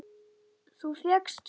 Þú fékkst hjólið!